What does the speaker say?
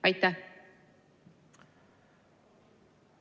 Aitäh!